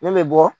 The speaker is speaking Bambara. Ne bɛ bɔ